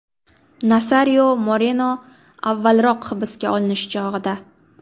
Nasario Moreno avvalroq hibsga olinish chog‘ida.